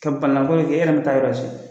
Ka balinako kɛ nk'e yɛrɛ ma taa yɔrɔ si.